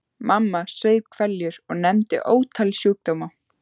Mamma saup hveljur og nefndi ótal sjúkdóma.